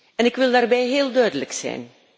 En ik wil daarbij heel duidelijk zijn.